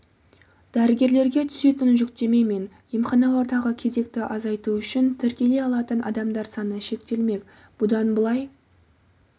дәрігерлерге түсетін жүктеме мен емханалардағы кезекті азайту үшін тіркеле алатын адамдар саны шектелмек бұдан былай